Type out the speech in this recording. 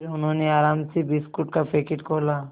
फिर उन्होंने आराम से बिस्कुट का पैकेट खोला